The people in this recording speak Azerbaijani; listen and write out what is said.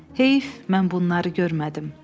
Heyf, mən bunları görmədim.